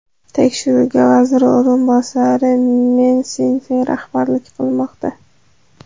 Tekshiruvga vazir o‘rinbosari Men Sinfen rahbarlik qilmoqda.